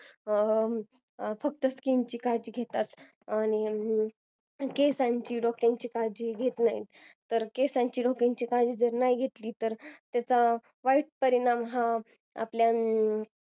फक्त skin काळजी घेतात केसांची डोक्याचे काळजी घेत नाही केसांची डोक्यांची काळजी जर नाही घेतली तर त्याचा वाईट परिणाम हा